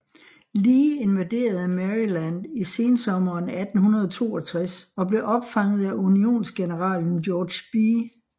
Lee invaderede Maryland i sensommeren 1862 og blev opfanget af Unionsgeneralen George B